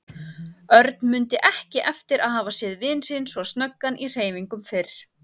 Örn mundi ekki eftir að hafa séð vin sinn svo snöggan í hreyfingum fyrr.